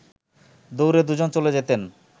দৌড়ে দু’জন চলে যেতেন